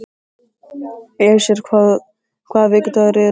Esjar, hvaða vikudagur er í dag?